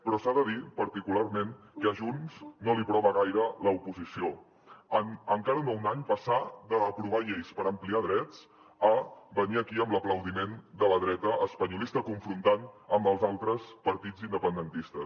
però s’ha de dir particularment que a junts no li prova gaire l’oposició amb encara no un any passar d’aprovar lleis per ampliar drets a venir aquí amb l’aplaudiment de la dreta espanyolista confrontant amb els altres partits independentistes